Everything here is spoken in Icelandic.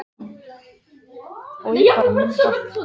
Búnaðurinn á kjálka hundsins var til þess ætlaður að safna munnvatni.